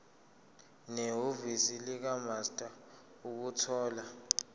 nehhovisi likamaster ukuthola